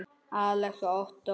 Alex og Ottó.